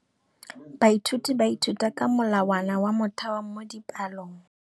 Baithuti ba ithuta ka molawana wa motheo mo dipalong.